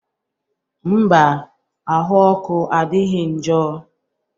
Mba, ahụ ọkụ adịghị njọ